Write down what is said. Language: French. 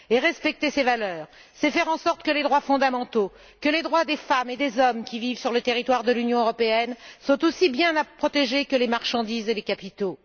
Et respecter ces valeurs, c'est faire en sorte que les droits fondamentaux, que les droits des femmes et des hommes qui vivent sur le territoire de l'Union européenne, soient aussi bien protégés que les marchandises et les capitaux.